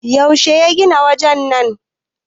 yaushe ya gina wajen nan!